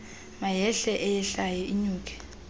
mayehle eyehlayo inyuke